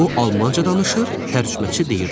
O Almanca danışır, tərcüməçi deyirdi: